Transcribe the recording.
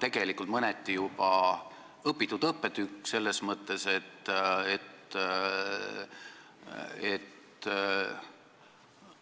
See on mõneti juba õpitud õppetükk selles mõttes, et